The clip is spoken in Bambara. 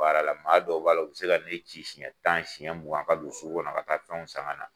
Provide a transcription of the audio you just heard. Baara la , maa dɔ b'a la, u bɛ se ka ne ci siɲɛ tan siɲɛ mugan ka don sugu kɔnɔ ka taa fɛnw san ka na.